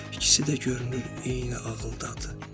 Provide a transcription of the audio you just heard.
İkisi də görünür eyni ağıldadır.